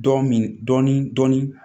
Dɔ min dɔɔnin dɔɔnin